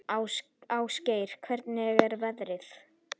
Ásgeir, hvernig er veðrið?